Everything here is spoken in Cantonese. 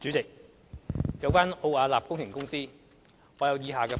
主席，有關奧雅納工程顧問公司，我有以下的補充。